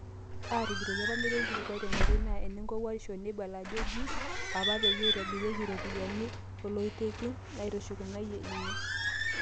"Aatujutoki apa metii olkilikuai tenkoitoi naa ene nkowuarisho neibala ajo ejii apa peyie eibooriaki iropiyiani oloitekin," eishakenoyia ninye.